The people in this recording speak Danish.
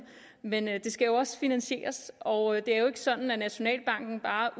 men det skal jo også finansieres og det er jo ikke sådan at nationalbanken bare